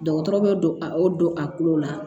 Dɔgɔtɔrɔ bɛ don a don a kulo la